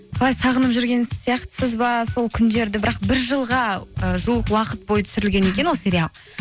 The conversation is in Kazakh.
қалай сағынып жүрген сияқтысыз ба сол күндерді бірақ бір жылға ыыы жуық уақыт бойы түсірілген екен ол сериал